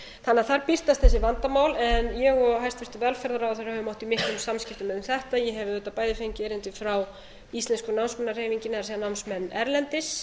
þannig að þar birtast þessi vandamál en ég og hæstvirtur velferðarráðherra höfum átt í miklum samskiptum um þetta ég hef auðvitað bæði fengið erindi frá íslensku námsmannahreyfingunni það er námsmenn erlendis